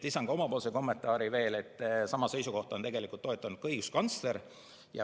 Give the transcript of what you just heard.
Lisan oma kommentaari, et sama seisukohta on toetanud ka õiguskantsler.